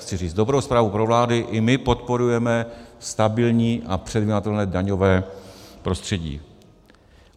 Chci říct dobrou zprávu pro vládu, i my podporujeme stabilní a předvídatelné daňové prostředí.